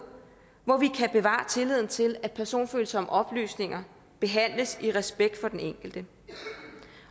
hvorpå vi kan bevare tilliden til at personfølsomme oplysninger behandles i respekt for den enkelte